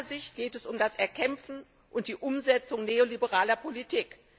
Aus meiner Sicht geht es um das Erkämpfen und die Umsetzung neoliberaler Politik.